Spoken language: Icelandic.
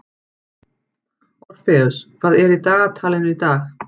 Orfeus, hvað er í dagatalinu í dag?